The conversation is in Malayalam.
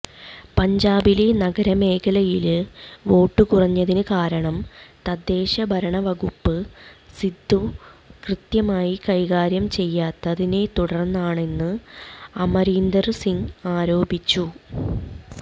പഞ്ചാബിലെ നഗരമേഖലയില് വോട്ട് കുറഞ്ഞതിന്കാരണം തദ്ദേശഭരണവകുപ്പ് സിദ്ദു കൃത്യമായി കൈകാര്യം ചെയ്യാത്തതിനെത്തുടര്ന്നാണെന്ന് അമരീന്ദര് സിംഗ് ആരോപിച്ചത്